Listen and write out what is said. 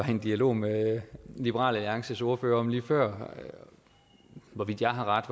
en dialog med liberal alliances ordfører om lige før hvorvidt jeg har ret